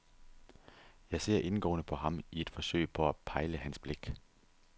Jeg ser indgående på ham i et forsøg på at pejle hans blik.